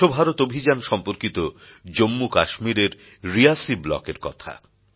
স্বচ্ছ ভারত অভিযান সম্পর্কিত জম্মু কাশ্মীরের রিয়াসী ব্লক এর কথা